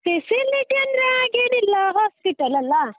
facility ಅಂದ್ರೆ ಹಾಗೇನಿಲ್ಲ, hospital ಅಲ್ಲಾ.